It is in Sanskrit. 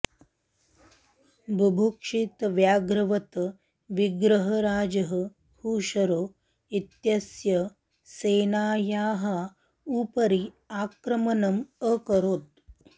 बुभुक्षितव्याघ्रवत् विग्रहराजः खुशरो इत्यस्य सेनायाः उपरि आक्रमणम् अकरोत्